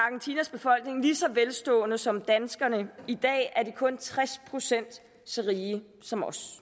en lige så velstående som danskerne i dag er de kun tres procent så rige som os